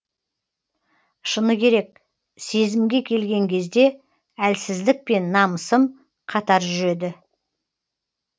шыны керек сезімге келген кезде әлсіздік пен намысым қатар жүреді